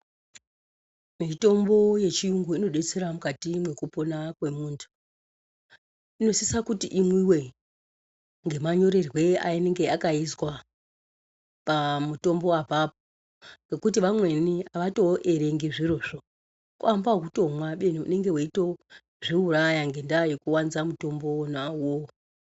Mitombo yechiyungu inodetsera mukati mwekupona kwemuntu. Inosisa kuti imwiwe, ngemanyorerwe ainenge akaizwa pamutombo apapo, ngekuti vamweni avatoerengi zvirozvo. Kuamba ekutomwa kubeni unonga weitozviuraya ngendaa yekuwanza mutombo wona uwowo.